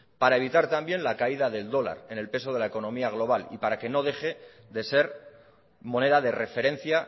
para evitar también la caída del dólar en el peso de la economía global y para que no deje de ser moneda de referencia